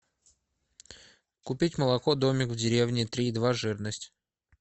купить молоко домик в деревне три и два жирность